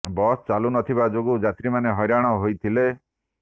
bus ଚାଲୁ ନ ଥିବା ଯୋଗୁ ଯାତ୍ରୀମାନେ ହଇରାଣ ହୋଇଥିଲେ